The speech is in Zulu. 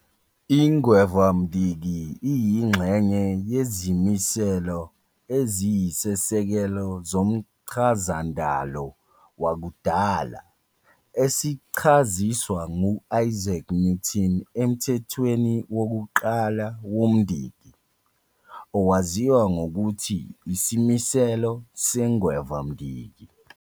Ingwevamdiki iyingxenye yezimiselo eziyisisekelo zomchazandalo wakudala, esichaziswa nguIsaac Newton eMthethweni wokuQala woMdiki, owaziwa ngokuthi Isimiselo seNgwevamdiki.